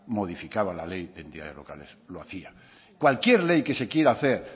modificaba la ley de entidades locales lo hacía cualquier ley que se quiera hacer